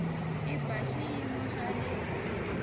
i bya xiyimo xa le